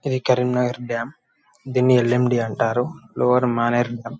ఇది Karimnagar dam దేన్ని L _M D అంటారు